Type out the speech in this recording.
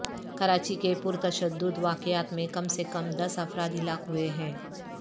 کراچی کے پر تشدد واقعات میں کم سے کم دس افراد ہلاک ہوئے ہیں